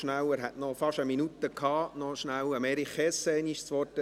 Ich gebe nochmals rasch Erich Hess das Wort, er hätte noch fast eine Minute zugute gehabt.